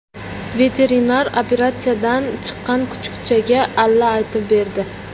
Veterinar operatsiyadan chiqqan kuchukchaga alla aytib berdi .